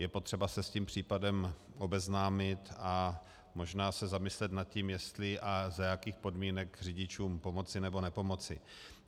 Je potřeba se s tím případem obeznámit a možná se zamyslet nad tím, jestli a za jakých podmínek řidičům pomoci, nebo nepomoci.